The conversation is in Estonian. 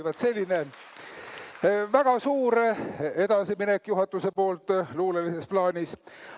Vaat selline väga suur edasiminek juhatuse poolt luulelises plaanis.